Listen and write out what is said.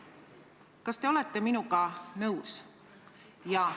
Kas te olete minuga nõus?